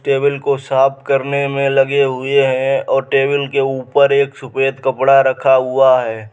Table को साफ करने मे लगे हुए हैं और टेबल के ऊपर एक सफ़ेद कपड़ा रखा हुआ है।